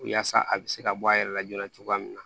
Yaasa a bɛ se ka bɔ a yɛrɛ la joona cogoya min na